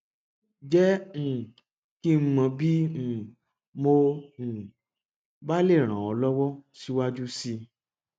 jẹ um kí n mọ bí um mo um bá lè ràn ọ lọwọ síwájú sí i